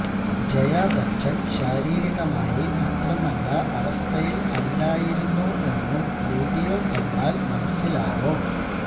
ജയാ ബച്ചന് ശാരീരികമായി അത്ര നല്ല അവസ്ഥയില് അല്ലായിരുന്നു എന്നും വീഡിയോ കണ്ടാല് മനസിലാവും